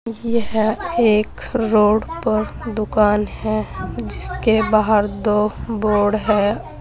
यह एक रोड पर दुकान है जिसके बाहर दो बोर्ड है।